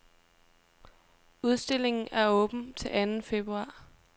Udstillingen er åben til anden februar.